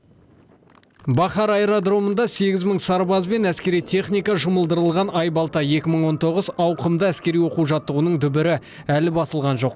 бахар аэродромында сегіз мың сарбаз бен әскери техника жұмылдырылған айбалта екі мың он тоғыз ауқымды әскери оқу жаттығуының дүбірі әлі басылған жоқ